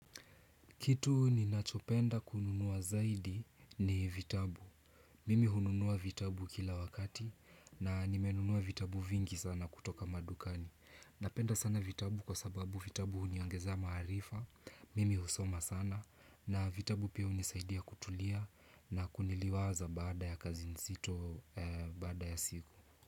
Kitu ninachopenda kununua zaidi ni vitabu. Mimi hununua vitabu kila wakati na nimenunua vitabu vingi sana kutoka madukani. Napenda sana vitabu kwa sababu vitabu huniongezea maarifa. Mimi husoma sana na vitabu pia hunisaidia kutulia na kuniliwaza bada ya kazi nzito bada ya siku.